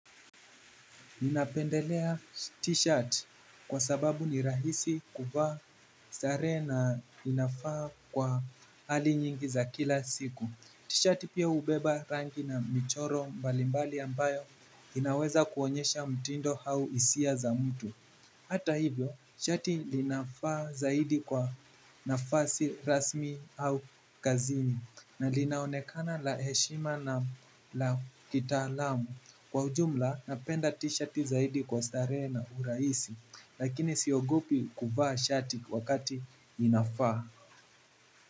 Ninapendelea t-shirt kwa sababu ni rahisi kuvaa sare na inafaa kwa hali nyingi za kila siku. T-shirt pia ubeba rangi na michoro mbalimbali ambayo inaweza kuonyesha mtindo hau isia za mtu. Hata hivyo t-shirt linafaa zaidi kwa nafasi rasmi au kazini. Na linaonekana la heshima na la kitaalamu. Kwa ujumla napenda t-shirti zaidi kwa starehe na urahisi. Lakini siogopi kuvaa shati wakati inafaa.